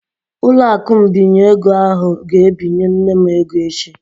Ụlọakụ mbinye ego ahụ ga-ebinye nne m ego echi